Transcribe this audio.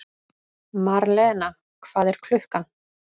Marlena, hvað er klukkan?